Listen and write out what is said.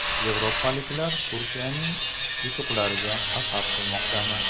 Yevropaliklar Turkiyaning yutuqlariga hasad qilmoqdami?